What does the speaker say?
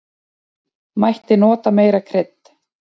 Mætti nota meira krydd.